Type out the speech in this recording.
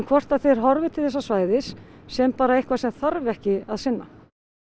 hvort að þeir horfi til þessa svæðis sem bara eitthvað sem þarf ekki að sinna